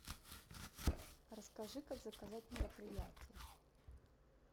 расскажи как заказать мероприятие